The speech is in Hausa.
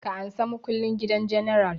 Ka ansa makullin gidan general!